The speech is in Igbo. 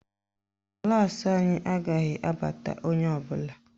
Klaasị anyị agaghị abata onye ọbụla